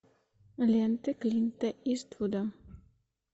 ленты клинта иствуда